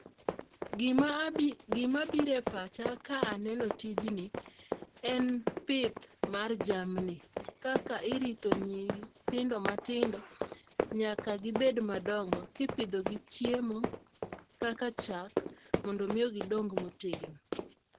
Gima abi, gima biro e pacha ka aneno tijni en pith mar jamni kaka irito nyithindo matindo nyaka gibed madongo kipidho gi chiemo kaka chak mondo omiyo gidong motegno.